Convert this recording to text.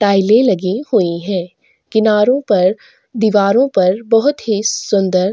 टाइले लगी हुई है किनारों पर दीवारों पर बहोत ही सुंदर--